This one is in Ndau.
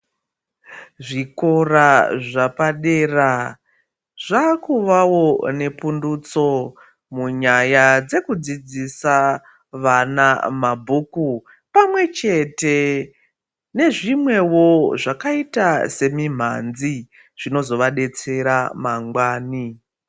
Zvikora zvapadera zvakuvavo nepundutso munyaya dzekudzidzisa vana mabhuku. Pamwe chete nezvimwevo zvakaita semimhanzi zvinozovabetsera mangwani.